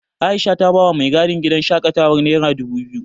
Aisha ta bawa mai gadin gidan shaƙatawar nera dubu biyu.